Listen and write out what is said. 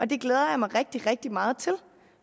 det glæder jeg mig rigtig rigtig meget til